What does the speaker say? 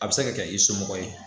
A bɛ se ka kɛ i somɔgɔ ye